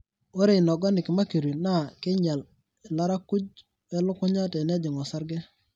ore inorganic mercury naa keinyial ilarakuj welukunya tenejing orsarge.